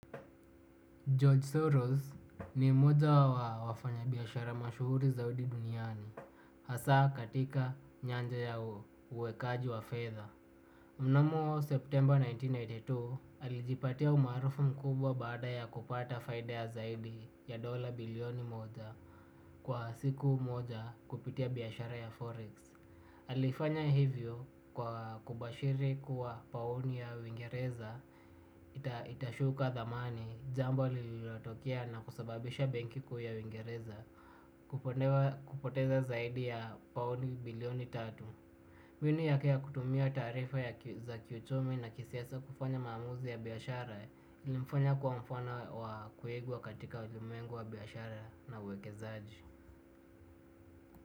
George Soros ni moja wa wafanyabiashara mashuhuri za udi duniani. Hasa katika nyanja ya uwekaji wa fedha. Mnamo September elfu moja na mia tisa na themanini na mbili, alijipatia umaarufu mkubwa baada ya kupata faida ya zaidi ya dola bilioni moja. Kwa siku moja kupitia biashara ya Forex Alifanya hivyo kwa kubashiri kuwa paoni ya wingereza, itashuka thamani, jambo lililatokea na kusababisha benki kuu ya wingereza, kupoteza zaidi ya paoni bilioni tatu. Mbinu yake ya kutumia taarifa za kiuchumi na kisiasa kufanya mamuzi ya biashara ilimfanya kua mfano wa kuigwa katika ulimwengu wa biashara na uwekezaji.